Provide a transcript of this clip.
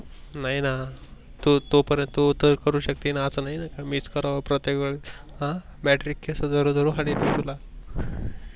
नाही ना तो, तोपारेंत तो त करु शकशीन अस नाहीन कि मीच कराव प्रत्येक वेळेस ह Battery केस धरून धरून हानीन तुला.